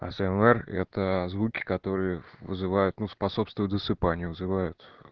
а с л р это это звуки которые вызывают ну способствуют засыпанию вызывают